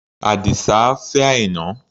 Àdìsá á fẹ́ Àìná.